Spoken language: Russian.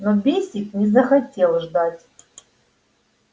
но бэсик не захотел ждать